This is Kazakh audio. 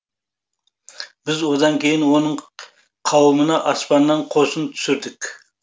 біз одан кейін оның қауымына аспаннан қосын түсірдік